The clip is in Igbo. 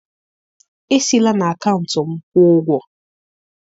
esi la na akaụntụ m kwuo ụgwọ